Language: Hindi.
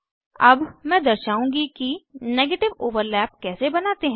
अब मैं दर्शाउंगी कि नेगेटिव ओवरलैप कैसे बनाते हैं